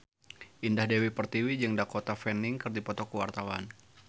Indah Dewi Pertiwi jeung Dakota Fanning keur dipoto ku wartawan